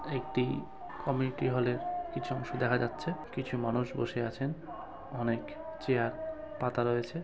একটি কমিটি হলের কিছু অংশ দেখা যাচ্ছে কিছু মানুষ বসে আছেন অনেক চেয়ার পাতা রয়েছে ।